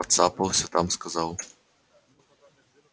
поцапался там сказал